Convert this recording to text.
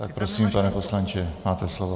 Tak prosím, pane poslanče, máte slovo.